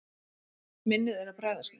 Minnið er að bregðast mér.